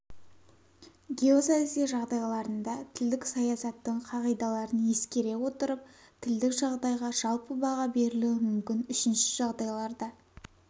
геосаяси жағдайларында тілдік саясаттың қағидаларын ескере отырып тілдік жағдайға жалпы баға берілуі мүмкін үшінші жағдайларда